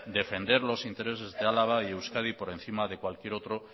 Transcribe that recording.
defender los intereses de álava y euskadi por encima de cualquier otro